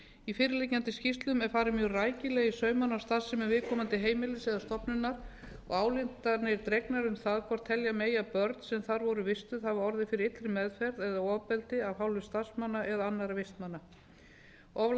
í fyrirliggjandi skýrslu er farið mjög rækilega í saumana á starfsemi viðkomandi heimilis eða stofnunar og ályktanir dregnar um það hvort telja megi að börn sem þar voru vistuð hafa orðið fyrir illri meðferð eða ofbeldi af hálfu starfsmanna eða annarra vistmanna of